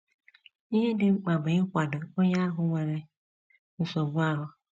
Ihe dị mkpa bụ ịkwado onye ahụ nwere nsogbu ahụ.